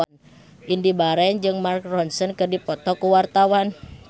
Indy Barens jeung Mark Ronson keur dipoto ku wartawan